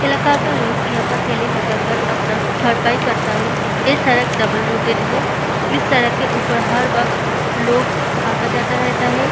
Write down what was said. इलका का लोग यहाँ पर ठेले लगा कर अपना भरपाई करता है ये सड़क डबल रोटेट है इस सड़क के ऊपर हर वक्त लोग अता-जाता रहता है।